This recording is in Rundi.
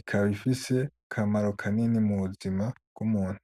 ikaba ifise akamaro kanini mu buzima bw'umuntu.